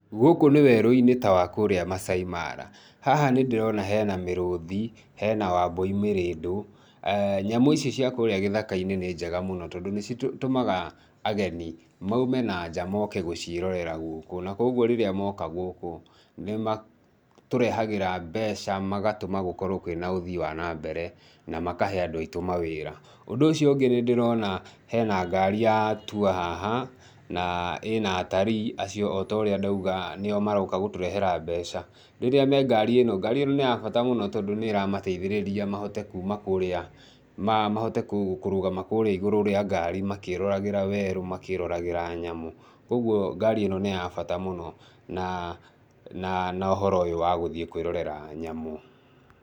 Gũkũ nĩ werũ-inĩ ta wa kurĩa Maasai Mara. Haha nĩ ndĩrona hena mĩrũthi, hena wambũi mĩrĩndũ, nyamũ ici cia kũrĩa gĩthaka-inĩ nĩ njega mũno tondũ nĩ citũmaga ageni maume na nja moke gũcierorera gũku, na kuoguo rĩrĩa moka gũkũ, nĩ matũrehagĩra mbeca magatuma gũkorwo kwĩna ũthii wa nambere, na makahe andũ aitũ mawĩra. Ũndũ ũcio ũngĩ, nĩ ndĩrona hena ngari ya tour haha, na ĩna atalii acio, o ta ũrĩa ndauga nĩ o maroka gũtũrehera mbeca. Rĩrĩa me ngari ĩno, ngari-ĩno nĩ ya bata mũno tondũ nĩ ĩramateithĩrĩria mahote kuuma kũrĩa, mahote kũrũgama kũrĩa igũrũ rĩa ngari makĩĩroragĩra werũ, makĩĩroragĩra nyamũ, kwoguo ngari ĩno ni ya bata mũno, na, na ũhoro ũyũ wa gũthiĩ kwĩrorera nyamũ.